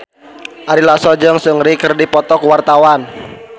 Ari Lasso jeung Seungri keur dipoto ku wartawan